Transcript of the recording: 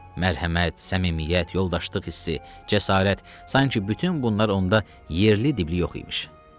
Mərhəmət, səmimiyyət, yoldaşlıq hissi, cəsarət, sanki bütün bunlar onda yerli-dibli yox imiş.